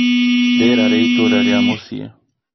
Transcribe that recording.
rĩera rĩa itũũra rĩa mũciĩ